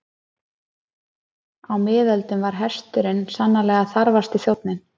Á miðöldum var hesturinn sannarlega þarfasti þjónninn.